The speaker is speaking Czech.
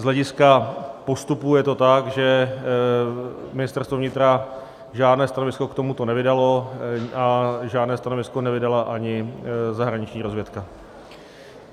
Z hlediska postupů je to tak, že Ministerstvo vnitra žádné stanovisko k tomuto nevydalo a žádné stanovisko nevydala ani zahraniční rozvědka.